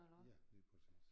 Ja lige præcis